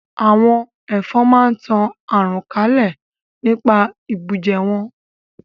Àwọn Ẹ̀fọn máa ń tan àrùn kalẹ̀ nípa ìbùjẹ wọn